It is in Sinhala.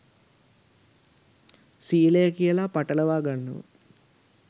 සීලය කියලා පටලවා ගන්නවා